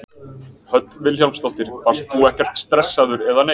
Hödd Vilhjálmsdóttir: Varst þú ekkert stressaður eða neitt?